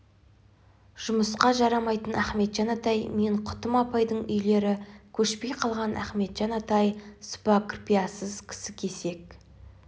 жұмыска жарамайтын ахметжан атай мен құтым апайдың үйлері көшпей қалған ахметжан атай сыпа кірпияз кісі кесек